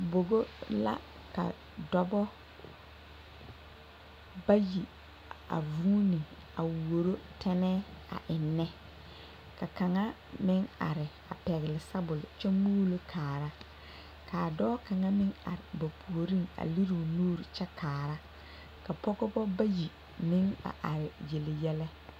Bogo la ka dɔba bayi a vuuni a wuoro tɛnɛɛ a eŋnɛ ka kaŋa meŋ are a pɛgle sabole kyɛ muulo kaara k,a dɔɔ kaŋa meŋ are a ba puoriŋ a lere o nuuri kyɛ kaara ka pɔgeba bayi meŋ a are yele yɛlɛ.